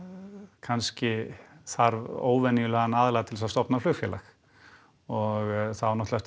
kannski þarf óvenjulegan aðila til þess að stofna flugfélag og það á náttúrulega